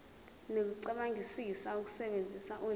nokucabangisisa ukusebenzisa ulimi